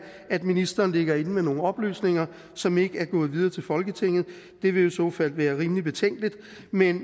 at ministeren ligger inde med nogle oplysninger som ikke er gået videre til folketinget det vil i så fald være rimelig betænkeligt men